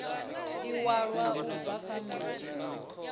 iwalwa u bva kha notsi